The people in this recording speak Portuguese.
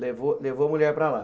Levou levou a mulher para lá.